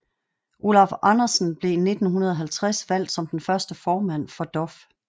Olaf Andersen blev i 1950 valgt som den første formand for DOF